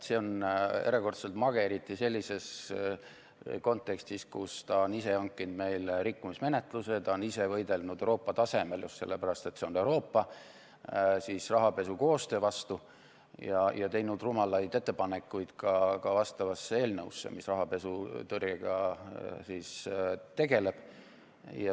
See on erakordselt mage, eriti sellises kontekstis, kus ta on ise hankinud meile rikkumismenetluse, ta on ise võidelnud Euroopa tasemel – just sellepärast, et see on Euroopa – rahapesu koostöö vastu ja teinud rumalaid ettepanekuid ka eelnõusse, mis rahapesutõrjega tegeleb.